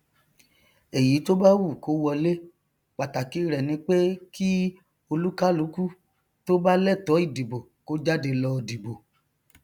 èyí tó bá wù kó wọlé pàtàkì rẹ ni pé kí olúkálukú tó bá lẹtọọ ìdìbò kó jáde lọ dìbò